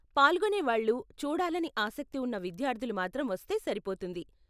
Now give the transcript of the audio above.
పాల్గొనేవాళ్లు, చూడాలని ఆసక్తి ఉన్న విద్యార్ధులు మాత్రం వస్తే సరిపోతుంది.